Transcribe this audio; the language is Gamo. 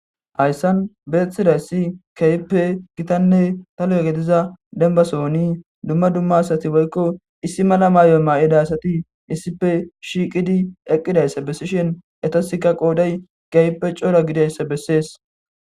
hayssan beeththidayssi keyppe gitanne dakga gidiza denba sooni dumma dumma asati woykko issi mala maayon maa7ida asati issife shiiqidi eqqidayssa bessishen etasikka qoodey keyppe coora gidayssa bessees